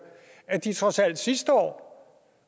at de trods alt sidste år